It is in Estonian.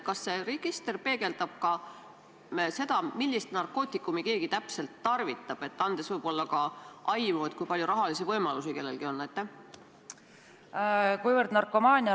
Kas see register peegeldab ka seda, millist narkootikumi keegi täpselt tarvitab, andes võib-olla ka aimu, kui palju rahalisi võimalusi kellelgi on?